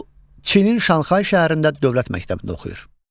Lu Çinin Şanxay şəhərində dövlət məktəbində oxuyur.